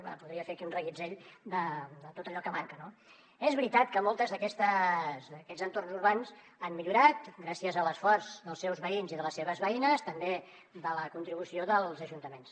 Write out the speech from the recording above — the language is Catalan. bé podria fer aquí un reguitzell de tot allò que manca no és veritat que molts d’aquests entorns urbans han millorat gràcies a l’esforç dels seus veïns i de les seves veïnes també de la contribució dels ajuntaments